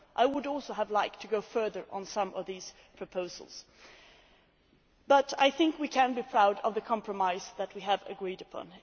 I would also have liked to have gone further on some of these proposals, but I think that we can be proud of the compromise that we have agreed upon.